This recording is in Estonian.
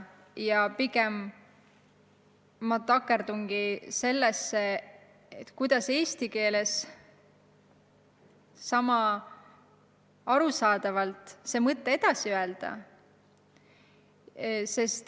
Ja pigem ma takerdungi sellesse, kuidas mõte eesti keeles sama arusaadavalt edasi anda.